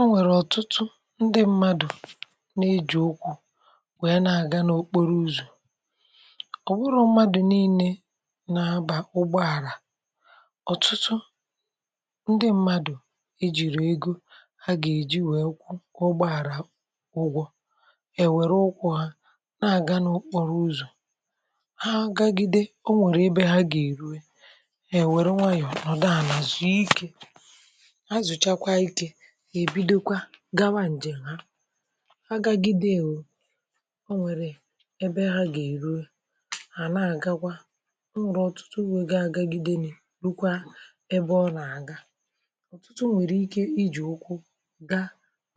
o nwèrè ọ̀tụtụ ndị mmadụ̀ na-eji̇ ụkwụ̇ nwèe na-àga n’okporo ụzọ̀ ọ̀ wụrụ mmadụ̀ niile na-aba ụgbọ àrà ọ̀tụtụ ndị mmadụ̀ ejìrì egȯ ha gà-èji nwee ụkwụ ụgbọ àrà ụgwọ èwère ụkwụ ha na-àga n’okporo ụzọ̀ ha gagide o nwèrè ebe ha gà-èruwe èwère nwayọ̀ nọ̀dụ ànà zùu ikė ha zuchakwaa ike ha ebido gawa ǹjèm ha agagidewo ọ nwẹ̀rẹ̀ ẹbẹ ha gà èrue àna àga kwa e nwere ọtụtụ wee gaa agagide nni rukwa ebe ọ nà àga ọ̀tụtụ nwẹ̀rẹ̀ ike ijì ukwu, gȧ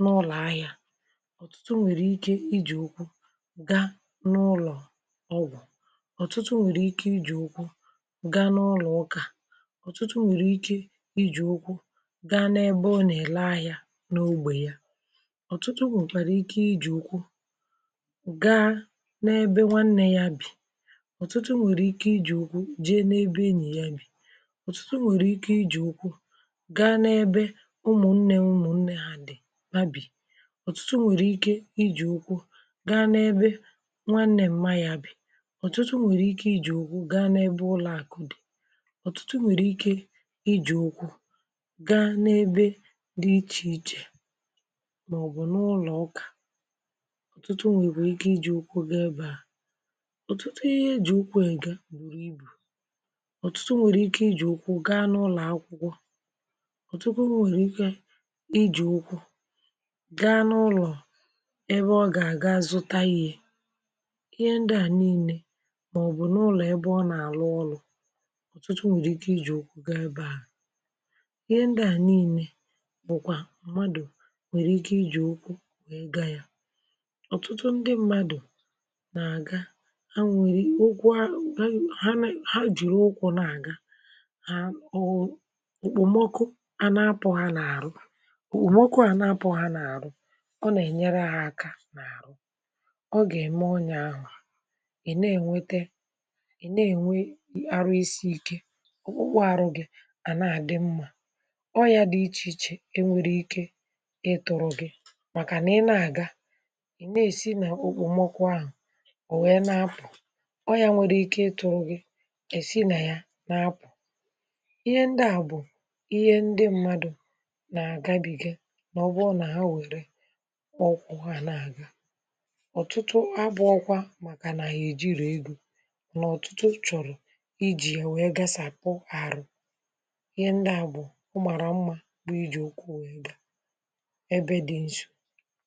n’ụlọ̀ ahịȧ ọ̀tụtụ nwẹ̀rẹ̀ ike ijì ukwu ga n’ụlọ̀ ọgwụ̀ ọ̀tụtụ nwẹ̀rẹ̀ ike ijì ukwu ga n’ụlọ̀ ụkà ọ̀tụtụ nwere ike iji ukwu gaa n’ebe ọ na-ele ahịa n'ógbè ya ọtụtụ nwekwara ike iji ukwu gaa n’ebe nwanne ya bi ọ̀tụtụ nwèrè ike ijì ụkwụ̇ jee n’ebe enyì ya bì ọ̀tụtụ nwèrè ike ijì ụkwụ̇ gaa n’ebe ụmụ̀nnė ụmụ̀nnė ha dì ha bì ọ̀tụtụ nwèrè ike ijì ụkwụ̇ gaa n’ebe nwa nne mma ya bì ọ̀tụtụ nwèrè ike ijì ụkwụ̇ gaa n’ebe ụlọ̀àkụ̀ dì ọtụtụ nwere ike iji ukwu gaa n'ebe dị iche iche màọ̀bụ̀ n’ụlọ̀ ụkà ọ̀tụtụ nwèkwere ike iji̇ ụkwụ gaa ebe ahụ̀ ọ̀tụtụ ihe eji̇ ụkwụ èga bùrù ibù ọ̀tụtụ nwèrè ike iji̇ ụkwụ gaa n’ụlọ̀ akwụkwọ ọ̀tụtụ nwèrè ike iji̇ ụkwụ gaa n’ụlọ̀ ebe ọ gà àga zụtȧ ihe ndị à niine màọ̀bụ̀ n’ụlọ̀ ebe ọ nà àlụ ọlụ̇ ọ̀tụtụ nwèrè ike iji̇ ụkwụ gaa ebe ahụ̀ ihe ndị à niine bụkwa mmadụ nwèrè ike ijì ukwu gàa ya ọ̀tụtụ ndị mmadụ̀ nà-àga ha nwèrì ukwu ha jìru ụkwụ̇ na-àga ha ọwụ̇ òkpòmọkụ anȧapụ̀ ha nà-àrụ òmọkụ ànapụ̀ ha nà-àrụ ọ nà-ènyere ha aka na arụ ọ gà-ème ọnyà ahụ̀ à ị̀ na-ènwete ị̀ na-ènwe arụ isi ike ọ̀kpụkpụ arụ̇ gị̇ à na-àdị mmȧ oya dị ichè ichè enweghị ike ịtọrọ gị̇ màkà na ị na-aga ị na-esi nà okpomọkụ ahụ̀ ò nwèe na-apụ̀ ọya nwere ike ịtọrọ gị̇ esi nà ya na apụ̀ ihe ndị à bụ̀ ihe ndị mmadụ̀ nà-agabìge nà ọ bụ nà ha nwèrè ụkwụ ha na-aga ọtụtụ abụọkwa màkà nà ha eji rù ego nà ọ̀tụtụ chọ̀rọ̀ ijì ya nwèe gasàpụ arụ ihe ndị à bụ̀ ọmàrà mmȧ bụ iji ukwu wee gaa ebe dị nso